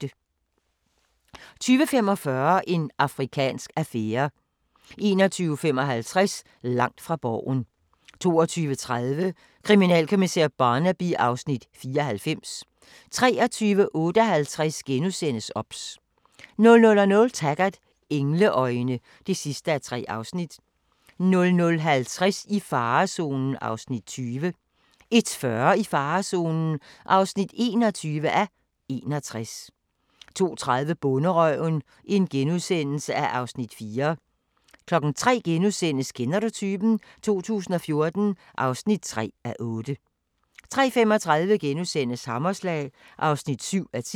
20:45: En afrikansk affære 21:55: Langt fra Borgen 22:30: Kriminalkommissær Barnaby (Afs. 94) 23:58: OBS * 00:00: Taggart: Engleøjne (3:3) 00:50: I farezonen (20:61) 01:40: I farezonen (21:61) 02:30: Bonderøven (Afs. 4)* 03:00: Kender du typen? 2014 (3:8)* 03:35: Hammerslag (7:10)*